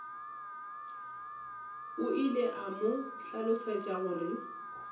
ile a mo hlalosetša gore